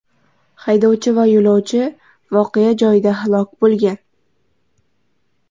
Haydovchi va yo‘lovchi voqea joyida halok bo‘lgan.